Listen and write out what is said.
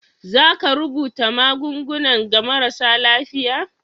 za ka rubuta magungunan ga marasa lafiya?